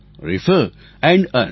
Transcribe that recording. refer and earn